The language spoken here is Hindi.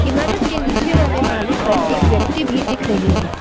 इमरत के नीचे वाले माले पर एक व्यक्ति भी दिख रही है।